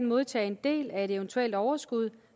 modtage en del af et eventuelt overskud